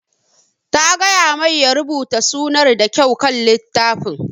Ta gaya mai ya rubuta sunar ta da kyau kan littafin